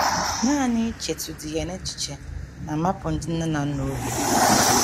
Nanị ichetụdị ya n’echiche na - amapụ ndị nne na nna obi!